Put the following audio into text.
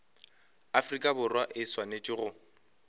afrika borwa e swanetše go